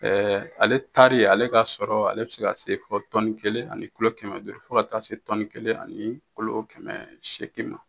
ale taarari ale ka sɔrɔ ale bɛ se ka se kelen ani kɛmɛ duuru fo ka taa se kelen ani kɛmɛ seegin ma.